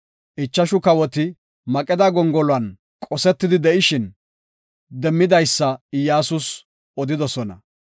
Ichashu kawoti, Maqeda gongoluwan qosetidi de7ishin demmidaysa Iyyasus odidosona.